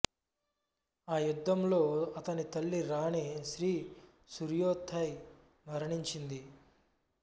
ఆ యుద్ధంలో అతని తల్లి రాణి శ్రీ సూర్యోతై మరణించింది